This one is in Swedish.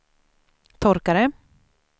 torkare